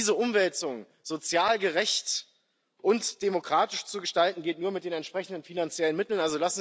Diese Umwälzung sozial gerecht und demokratisch zu gestalten, geht nur mit den entsprechenden finanziellen Mitteln.